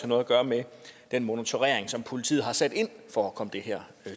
noget at gøre med den monitorering som politiet har sat ind for at komme det her